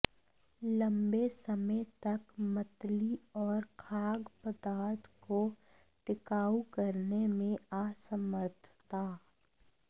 लंबे समय तक मतली और खाद्य पदार्थ को टिकाऊ करने में असमर्थता